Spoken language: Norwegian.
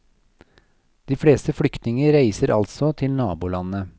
De fleste flyktninger reiser altså til nabolandet.